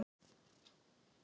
Konungur var þá mjög klæddur.